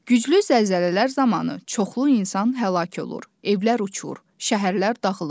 Güclü zəlzələlər zamanı çoxlu insan həlak olur, evlər uçur, şəhərlər dağılır.